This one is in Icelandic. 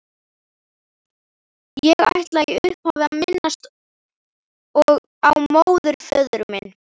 Ég ætla í upphafi að minnast á móðurföður minn